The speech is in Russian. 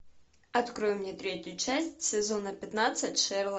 открой мне третью часть сезона пятнадцать шерлок